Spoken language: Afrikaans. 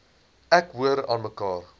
ek hoor aanmekaar